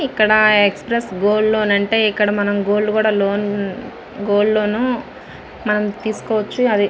ఇక్కడ express gold loan అంటే ఇక్కడ మనం గోల్డ్ కూడా గోల్డ్ లోను మనం తీసుకోవచ్చు. అది --